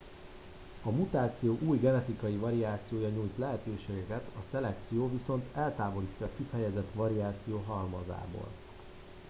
a mutáció új genetikai variációra nyújt lehetőséget a szelekció viszont eltávolítja a kifejezett variáció halmazából